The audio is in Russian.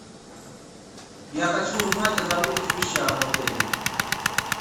я хочу узнать о забытых вещах в отеле